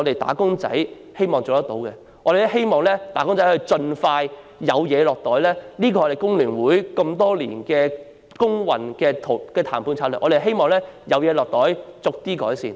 我們希望能夠盡快增加"打工仔"的侍產假，這是工聯會多年來工運的談判策略，是希望有好處"落袋"，然後逐步改善。